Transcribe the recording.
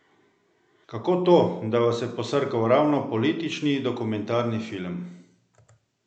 Kako to, da vas je posrkal ravno politični dokumentarni film?